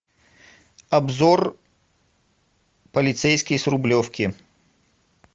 обзор полицейский с рублевки